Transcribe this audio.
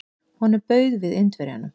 Honum bauð við Indverjanum.